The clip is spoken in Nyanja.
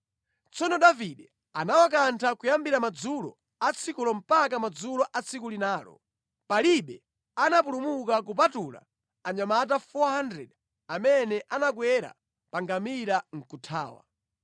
Tsono Davide anawakantha kuyambira madzulo atsikulo mpaka madzulo a tsiku linalo. Palibe anapulumuka kupatula anyamata 400 amene anakwera pa ngamira nʼkuthawa.